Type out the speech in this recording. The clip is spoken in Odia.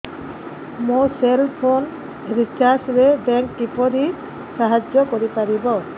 ମୋ ସେଲ୍ ଫୋନ୍ ରିଚାର୍ଜ ରେ ବ୍ୟାଙ୍କ୍ କିପରି ସାହାଯ୍ୟ କରିପାରିବ